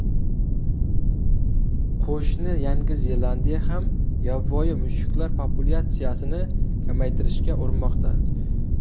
Qo‘shni Yangi Zelandiya ham yovvoyi mushuklar populyatsiyasini kamaytirishga urinmoqda.